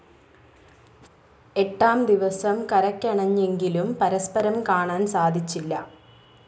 എട്ടാം ദിവസം കരക്കണഞ്ഞെങ്കിലും പരസ്പരം കാണാൻ സാധിച്ചില്ല.